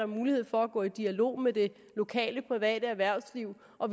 muligheder for at gå i dialog med det lokale private erhvervsliv og